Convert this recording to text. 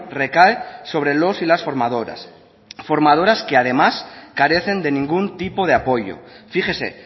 recae sobre los y las formadoras formadoras que además carecen de ningún tipo de apoyo fíjese